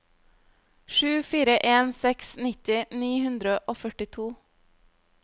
sju fire en seks nitti ni hundre og førtito